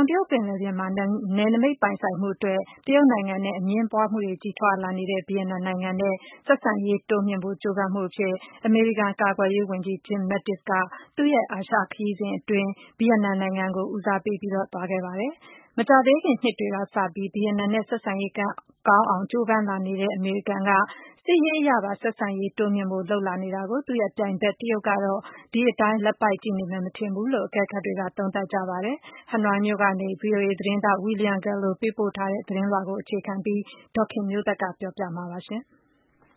င်တရုတ်ပင်လယ်ပြင်မှာ နယ်နမိတ်ပိုင်ဆိုင်မှုအတွက် တရုတ်နိုင်ငံနဲ့ အငြင်းပွားမှုတွေ ကြီးထွားလာနေတဲ့ ဗီယက်နမ်နိုင်ငံနဲ့ ဆက်ဆံရေးတွေ တိုးမြှင့်ဖို့ ကြိုးပမ်းတဲ့ အနေနဲ့ အမေရိကန် ကာကွယ်ရေးဝန်ကြီး Jim Mattis ဟာ သူ့ရဲ့ အာရှခရီးစဉ်အတွင်း ဗီယက်နမ်နိုင်ငံ ကို ဦးစားပေး သွားရောက်ခဲ့ပါတယ်။ မကြာသေးခင် နှစ်တွေကစပြီး ဗီယက်နမ်နဲ့ ဆက်ဆံရေး ကောင်းအောင် ကြိုးပမ်းလာနေတဲ့ အမေရိကန်က စစ်ရေးအရပါ ဆက်ဆံရေးတိုးမြှင့်ဖို့ လုပ်လာနေတာနဲ့ ပတ်သက်ပြီး သူ့ပြိုင်ဘက် တရုတ်ကတော့ ဒီအတိုင်း လက်ပိုက်ကြည့်နေမယ် မထင်ဘူးလို့ အကဲခတ်တွေက သုံးသပ်ပါတယ်။ Hanoiက VOA သတင်းထောက် William Gallo ရဲ့ သတင်းပေါ်အခြေခံပြီး ဒေါ်ခင်မျိုးသက်က ပြောပြပေးမှာပါ။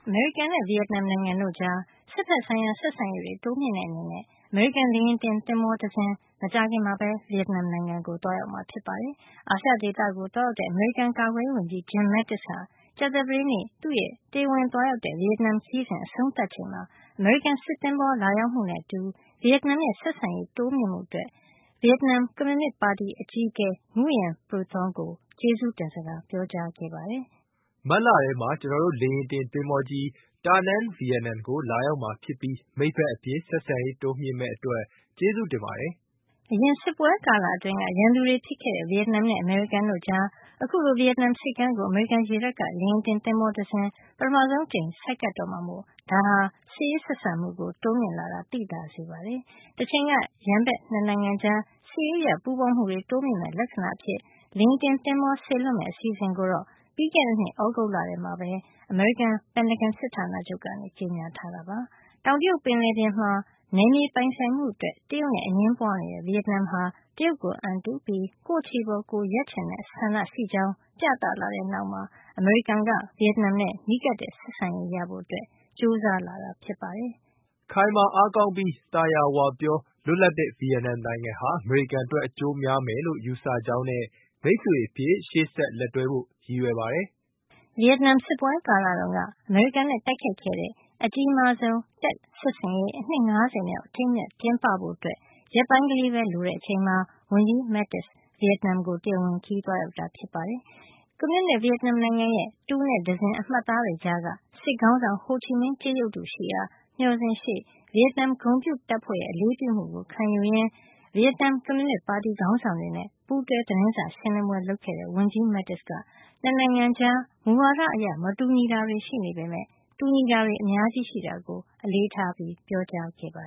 အမေရိကန်နဲ့ ဗီယက်နမ်နိုင်ငံတို့ကြား စစ်ဘက်ဆိုင်ရာ ဆက်ဆံရေးတွေ တိုးမြှင့်တဲ့ အနေနဲ့ အမေရိကန် လေယာဉ်တင်သင်္ဘောတစင်း မကြာခင်မှာပဲ ဗီယက်နမ်နိုင်ငံကို သွားရောက်မှာဖြစ်ပါတယ်။ အာရှဒေသကို သွားရောက်တဲ့ အမေရိကန် ကာကွယ်ရေးဝန်ကြီး Jim Mattis ဟာ ကြာသပတေးနေ့ သူ့ရဲ့ တရားဝင် သွားရောက်တဲ့ ဗီယက်နမ်နိုင်ငံခရီးစဉ် အဆုံးသတ်ချိန်မှာ အမေရိကန် စစ်သဘောၤလာရောက်မှုနဲ့ အတူ ဗီယက်နမ်ရဲ့ ဆက်ဆံရေးတိုးမြှင့်မှု အတွက် ဗီယက်နမ် ကွန်မြူနစ်ပါတီအကြီးအကဲ Nguyen Phu Trong ကို ဝန်ကြီး Mattis က ကျေးဇူးတင်စကား ပြောခဲ့ပါတယ် “မတ်လထဲမှာ ကျွန်တော်တို့ရဲ့ လေယာဉ်တင် သဘောၤကြီး Danang ဗီယက်နမ်ကို လာရောက်မှာ ဖြစ်ပြီး မိတ်ဘက်အဖြစ် ဆက်ဆံရေးတိုးမြှင့်မယ့် အတွက် ကျေးဇူးတင်ပါတယ်” အရင်စစ်ပွဲကာလ အတွင်းက ရန်သူတွေဖြစ်ခဲ့တဲ့ ဗီယက်နမ်နဲ့ အမေရိကန်တို့ကြား အခုလို ဗီယက်နမ်ဆိပ်ကမ်းကို အမေရိကန် ရေတပ်က လေယာဉ်တင်သဘောၤ ပထမဆုံး အကြိမ်အဖြစ် ဆိုက်ကပ်တော့မှာမို့ ဒါဟာ စစ်ရေးဆက်ဆံမှု တိုးမြင့်လာကို သိသာစေတာပါ။ တချိန်က ရန်ဘက် ၂ နိုင်ငံကြား စစ်ရေးအရ ပူးပေါင်းမှုတွေ တိုးမြှင့်မယ့် လက္ခဏာအဖြစ်နဲ့ လေယာဉ်တင်သင်္ဘော စေလွှတ်မယ့် အစီအစဉ်ကိုတော့ ပြီးခဲ့တဲ့နှစ် သြဂုတ်လထဲမှာပဲ အမေရိကန် ပင်တဂွန်စစ်ဌာနချုပ်က ကြေညာထားတာဖြစ်ပါတယ်။ တောင်တရုတ်ပင်လယ်ပြင်မှာ နယ်မြေပိုင်ဆိုင်မှုအတွက် တရုတ်နဲ့အငြင်းပွါးနေတဲ့ ဗီယက်နမ်ဟာ တရုတ်ကိုအံတုပြီး ကိုယ့်ခြေပေါ် ကိုယ်ရပ်ချင်တဲ့ ဆန္ဒရှိကြောင်းပြသလာတဲ့ နောက်မှာ အမေရိကန်က ဗီယက်နမ်နဲ့ နီးကပ်တဲ့ဆက်ဆံရေးရဖို့ ကြိုးစားလာတာပါ။ ဝန်ကြီး Mattis ကတော့ “ခိုင်မာအားကောင်းပြီး သာယာဝပြော၊ လွတ်လပ်တဲ့ ဗီယက်နမ်နိုင်ငံဟာ အမေရိကန်အတွက် အကျိုးများမယ်လို့ ယူဆကြောင်းနဲ့ မိတ်ဆွေအဖြစ် ရှေ့ဆက် လက်တွဲဖို့ ရည်ရွယ်ပါတယ်” လို့ ပြောဆိုခဲ့ပါတယ်။ ဗီယက်နမ် စစ်ပွဲကာလတုန်းက အမေရိကန်နဲ့ တိုက်ခိုက်ခဲ့တဲ့ အကြီးမားဆုံး Tet စစ်ဆင်ရေး နှစ် ၅၀ မြောက် အထိမ်းအမှတ် ကျင်းပဖို့ ရက်ပိုင်းကလေးပဲ လိုတဲ့ အချိန်မှာ ဝန်ကြီး Mattis ဗီယက်နမ်ကို တရားဝင်ခရီးသွားရောက်ခဲ့တာ ဖြစ်ပါတယ်။ ကွန်မြူနစ် ဗီယက်နမ်နိုင်ငံရဲ့ တူနဲ့တံဇင် အမှတ်အသားတွေကြားက စစ်ခေါင်းဆောင် ဟိုချီမင်း ကြေးရုပ်တုရှိရာ မျှော်စင်ရှေ့ ဗီယက်နမ် ဂုဏ်ပြုတပ်ဖွဲ့ရဲ့ အလေးပြုမှုကိုခံယူရင်း ဗီယက်နမ် ကွန်မြူနစ်ပါတီခေါင်းဆောင်တွေနဲ့ ပူးတွဲ သတင်းစာရှင်းလင်းပွဲ လုပ်ခဲ့တဲ့ ဝန်ကြီး Mattis က ၂ နိုင်ငံကြား မူဝါဒအရ မတူညီတာတွေ ရှိနေပေမယ့် တူညီတာတွေ အများကြီး ရှိတာကို အလေးထား ပြောကြားခဲ့တာပါ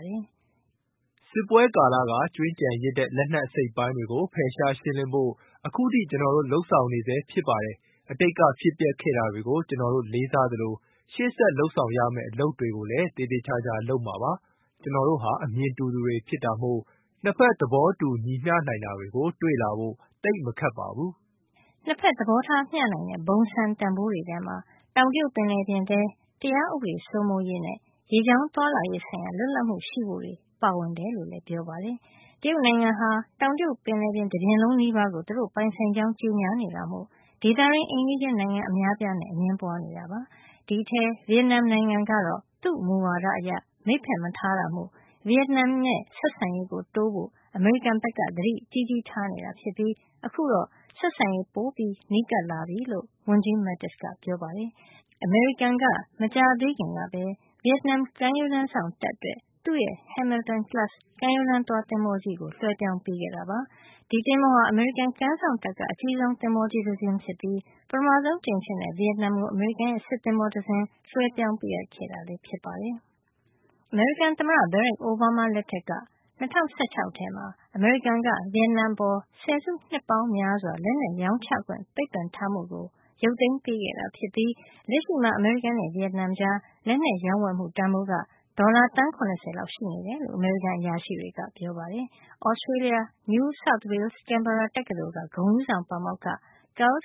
။ “စစ်ပွဲကာလက ကျွင်းကျန်ရစ်တဲ့ လက်နက်အစိတ်အပိုင်းတွေကို ဖယ်ရှားရှင်းလင်းဖို့ အခုထိ ကျွန်တော်တို့ လုပ်ဆောင်နေဆဲ ဖြစ်ပါတယ်။ အတိတ်ကဖြစ်ပျက်ခဲ့တာတွေကို ကျွန်တော်တို့ လေးစားသလို ရှေ့ဆက်လုပ်ဆောင်ရမယ့် အလုပ်တွေကိုလည်း သေသေချာချာ လုပ်မှာပါ။ ကျွန်တော်တို့ဟာ အမြင်တူသူတွေ ဖြစ်တာမို့ ၂ ဖက် သဘောတူညီမျှနိုင်တာတွေကို တွေ့လာဖို့ သိပ်မခက်ပါဘူး။” ၂ ဖက် သဘောထားမျှနိုင်တဲ့ ဘုံစံတန်ဖိုးတွေထဲမှာ တောင်တရုတ်ပင်လယ်ပြင်ထဲ တရားဥပဒေစိုးမိုးရေး နဲ့ ရေကြောင်းသွားလာရေး လွတ်လပ်မှု ရှိဖို့တွေ ပါဝင်တယ်လို့လည်း ပြောပါတယ်။ တရုတ်နိုင်ငံက တောင်တရုတ်ပင်လယ်ပြင် တပြင်လုံးနီးပါးကို သူတို့ ပိုင်ဆိုင်ကြောင်း ကြေညာနေတာမို့ ဒေသတွင်း အိမ်နီးချင်းနိုင်ငံ အများအပြားနဲ့ အငြင်းပွါးနေတာဖြစ်ပါတယ်။ ဒီအထဲက ဗီယက်နမ် နိုင်ငံကတော့ သူ့မူဝါဒအရ မိတ်ဖက် မထားတာမို့ ဗီယက်နမ်နဲ့ ဆက်ဆံရေး တိုးဖို့ အမေရိကန်က သတိကြီးကြီးထားနေတာ ဖြစ်ပြီး အခုတော့ ဆက်ဆံရေးပိုမို နီးကပ်လာပြီလို့ ဝန်ကြီး Mattis ကပြောပါတယ်။ အမေရိကန်က မကြာသေးခင်ကပဲ ဗီယက်နမ်ကမ်းရိုးတန်းစောင့် တပ်အတွက် သူ့ရဲ့ Hamilton-class ကမ်းရိုးတန်းသွား သင်္ဘောကြီးကို လွှဲပြောင်းပေးခဲ့တာပါ။ ဒီသင်္ဘောဟာ အမေရိကန်ကမ်းစောင့်တပ်က အကြီးဆုံးသင်္ဘောကြီးတစင်းဖြစ်ပြီး ပထမဆုံး အကြိမ်အဖြစ် ဗီယက်နမ်ကို အမေရိကန်ရဲ့ စစ်သင်္ဘောတစင်း လွှဲပြောင်းပေးခဲ့တာလည်း ဖြစ်ပါတယ်။ အမေရိကန် သမ္မတ Barack Obama လက်ထက်က ၂၀၁၆ ထဲမှာ အမေရိကန်က ဗီယက်နမ်အပေါ် ဆယ်စုနှစ်ပေါင်းများစွာ လက်နက်ရောင်းချခွင့် ပိတ်ပင်ထားမှုကို ရုတ်သိမ်းပေါ်ခဲ့တာ ဖြစ်ပြီး လက်ရှိမှာ အမေရိကန်နဲ့ ဗီယက်နမ်ကြား လက်နက်ရောင်းဝယ်မှု တန်ဖိုးက ဒေါ်လာ သန်း ၇၀ လောက် ရှိနေတယ်လို့ အမေရိကန် အရာရှိတွေက ပြောပါတယ်။ Australia က New South Wales-Canberra တက္ကသိုလ် က ဂုဏ်ထူးဆောင် ပါမောက္ခ Carl Thayer ကတော့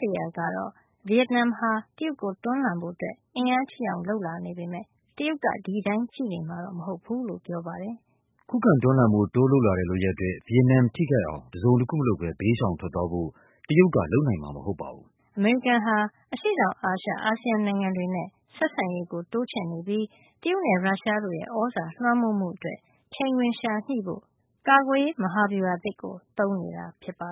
ဗီယက်နမ်ဟာ တရုတ်ကို တွန်းလှန်ဖို့ အင်အားကြီးအောင် လုပ်လာနေပေမယ့် တရုတ်ကတော့ ဒီအတိုင်းကြည့်နေမှာ မဟုတ်ဖူးလို့ ပြောပါတယ်။ “ခုခံတွန်းလှန်ဖို့ တိုးလုပ်လာတဲ့ လုပ်ရပ်အတွက် ဗီယက်နမ် ထိခိုက်အောင် တစုံတခုမလုပ်ပဲ ဘေးရှောင်ထွက်သွားဖို့ တရုတ်က လုပ်နိုင်မှာ မဟုတ်ပါဘူး” အမေရိကန်ကတော့ အရှေ့တောင်အာရှ အာဆီယံ နိုင်ငံတွေနဲ့ ဆက်ဆံရေးကို တိုးချဲ့နေပြီး တရုတ်နဲ့ ရုရှားတို့ရဲ့ သြဇာလွှမ်းမိုးမှုအတွက် ချိန်ခွင်လျှာညှိဖို့ ကာကွယ်ရေးမဟာဗျူဟာ အသစ်ကို သုံးနေတာဖြစ်ပါ